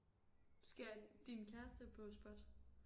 Skal din kæreste på SPOT?